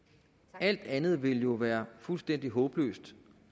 alt andet ville jo være fuldstændig håbløst